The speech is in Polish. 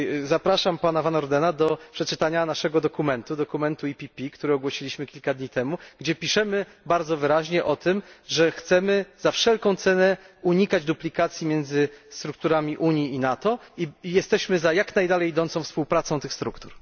Zapraszam pana Van Ordena do przeczytania naszego dokumentu, dokumentu PPE, który ogłosiliśmy kilka dni temu, gdzie piszemy bardzo wyraźnie o tym, że chcemy za wszelką cenę unikać duplikacji między strukturami Unii i NATO i jesteśmy za jak najdalej idącą współpracą tych struktur.